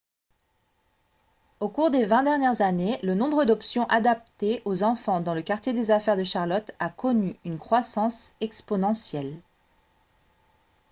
au cours des 20 dernières années le nombre d'options adaptées aux enfants dans le quartier des affaires de charlotte a connu une croissance exponentielle